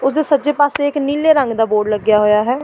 ਉਸ ਜੋ ਸੱਜੇ ਪਾਸੇ ਇੱਕ ਨੀਲੇ ਰੰਗ ਦਾ ਬੋਰਡ ਲੱਗਿਆ ਹੋਇਆ ਹੈ।